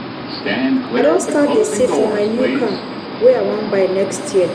i don start dey save for my new car wey i wan buy next year.